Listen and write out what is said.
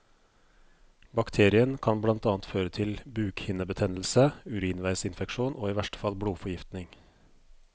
Bakterien kan blant annet føre til bukhinnebetennelse, urinveisinfeksjon og i verste fall blodforgiftning.